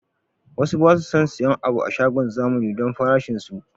Wasu basu son siyan abu a shagon zamani don farashin su